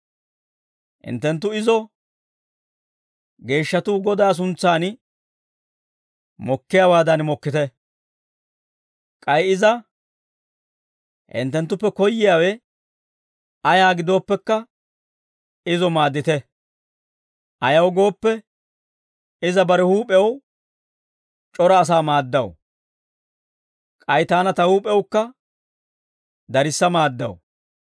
Hinttenttu izo geeshshatuu Godaa suntsan mokkiyaawaadan mokkite; k'ay iza hinttenttuppe koyyiyaawe ayaa gidooppekka, izo maaddite; ayaw gooppe, iza bare huup'ew c'ora asaa maaddaw; k'ay taana ta huup'ewukka darissa maaddaw.